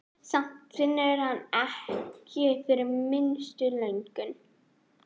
Samt finnur hann ekki fyrir minnstu löngun.